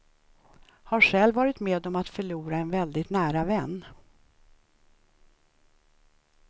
Har själv varit med om att förlora en väldigt nära vän.